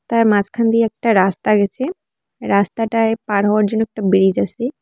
তার মাঝখান দিয়ে একটা রাস্তা গেছে রাস্তাটায় পার হওয়ার জন্য একটা ব্রীজ আছে।